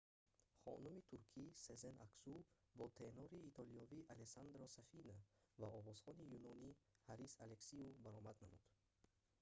хонуми туркӣ сезен аксу бо тенори итолиёвӣ алессандро сафина ва овозхони юнонӣ ҳарис алексиу баромад намуд